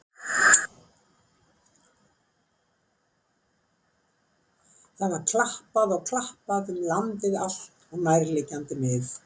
Það var klappað og klappað um landið allt og nærliggjandi mið.